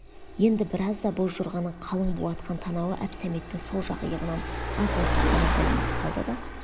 енді біразда боз жорғаның қалың бу атқан танауы әбсәметтің сол жақ иығынан аз уақыт қана білініп қалды да